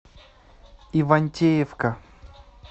ивантеевка